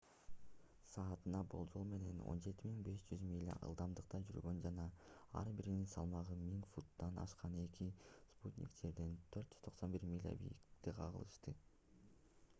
саатына болжол менен 17 500 миля ылдамдыкта жүргөн жана ар биринин салмагы 1000 фунттан ашкан эки спутник жерден 491 миля бийиктикте кагылышты